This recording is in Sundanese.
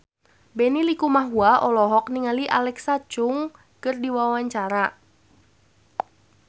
Benny Likumahua olohok ningali Alexa Chung keur diwawancara